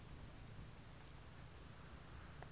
akulalwe